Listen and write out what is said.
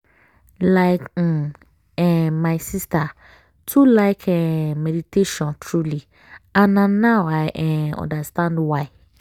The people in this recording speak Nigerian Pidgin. like um eh my sister too like um meditation truely and na now i um understand why.